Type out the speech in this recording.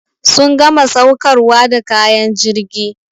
Sun gama saukarwa da kayan jirgi.